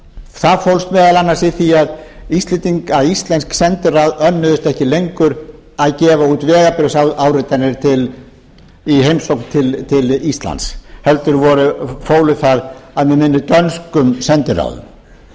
það fólst meðal annars í því að íslensk sendiráð önnuðust ekki lengur að gefa út vegabréfsáritanir í heimsókn til íslands heldur fólu það að mig minnir dönskum